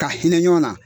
Ka hinɛ ɲɔgɔn na